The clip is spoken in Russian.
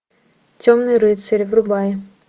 темный рыцарь врубай